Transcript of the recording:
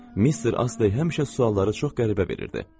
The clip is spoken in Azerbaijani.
Mister Astley həmişə sualları çox qəribə verirdi.